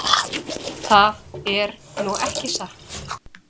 Það er nú ekki satt.